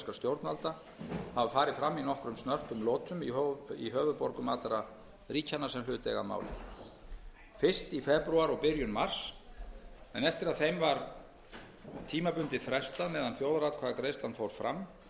stjórnvalda hafa farið fram í nokkrum snörpum lotum í höfuðborgum allra ríkjanna sem hlut eiga að máli fyrst í febrúar og byrjun mars en eftir að þeim var tímabundið frestað meðan þjóðaratkvæðagreiðslan fór fram varð